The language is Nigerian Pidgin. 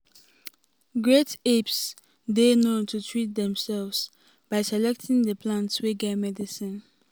great apes dey known to treat demsefs by selecting di plants wey get medicine.